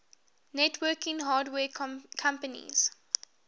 networking hardware companies